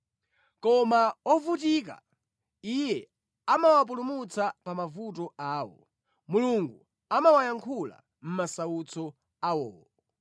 Koma ovutika, Iye amawapulumutsa pa mavuto awo; Mulungu amawayankhula mʼmasautso awowo.